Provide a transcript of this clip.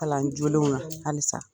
Kalan jolenw na halisa